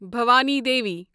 Bhawani Devi